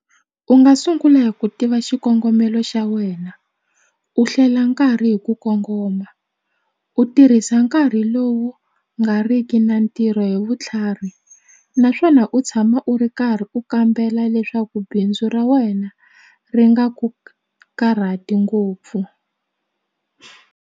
U nga sungula hi ku tiva xikongomelo xa wena u hlela nkarhi hi ku kongoma u tirhisa nkarhi lowu nga riki na ntirho hi vutlhari naswona u tshama u ri karhi u kambela leswaku bindzu ra wena ri nga ku karhati ngopfu.